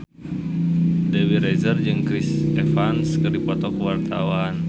Dewi Rezer jeung Chris Evans keur dipoto ku wartawan